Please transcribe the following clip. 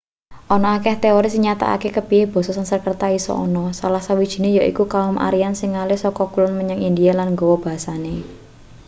ana akeh teori sing nyatakake kepiye basa sanskerta iso ana salah sawijine yaiku kaum aryan sing ngalih saka kulon menyang india lan nggawa basane